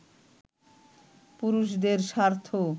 পুরুষদের স্বার্থ